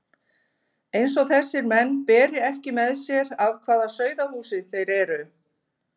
Eins og þessir menn beri ekki með sér af hvaða sauðahúsi þeir eru!